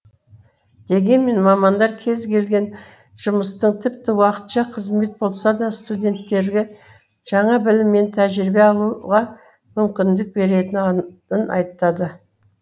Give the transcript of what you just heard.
дегенмен мамандар кез келген жұмыстың тіпті уақытша қызмет болса да студенттерге жаңа білім мен тәжірибе алуға мүмкіндік беретінін айтады